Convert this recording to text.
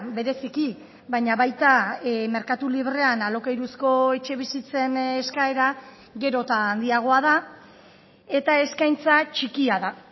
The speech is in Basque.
bereziki baina baita merkatu librean alokairuzko etxebizitzen eskaera gero eta handiagoa da eta eskaintza txikia da